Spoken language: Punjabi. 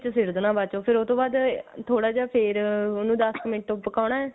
ਵਿੱਚ ਸਿੱਟ ਬਾਅਦ ਚੋ ਫੇਰ ਉਹ ਤੋਂ ਬਾਅਦ ਥੋੜਾ ਜਾ ਉਹਨੂੰ ਫੇਰ ਦੱਸ ਕੁ ਮਿੰਟ ਪਕਾਉਣਾ